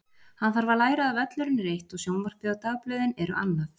Hann þarf að læra að völlurinn er eitt og sjónvarpið og dagblöðin eru annað.